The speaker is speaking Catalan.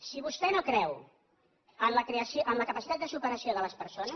si vostè no creu en la capacitat de superació de les persones